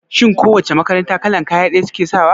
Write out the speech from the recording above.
Shin ko wace makaranta kalan kaya ɗaya suke sawa?